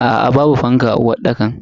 Aa babu fanka a uwarɗakar.